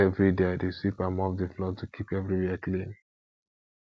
every day i dey sweep and mop the floor to keep everywhere clean